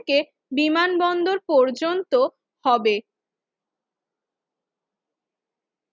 থেকে বিমানবন্দর পর্যন্ত হবে